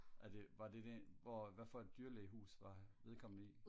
er det var det det hvor hvad for et dyrlægehus var vedkommende i?